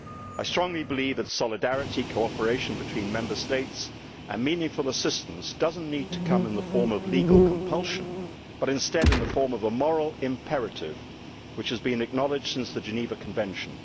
I strongly believe that solidarity, cooperation between Member States and meaningful assistance do not need to come in the form of legal compulsion, but instead in the form of a moral imperative which has been acknowledged since the Geneva Convention.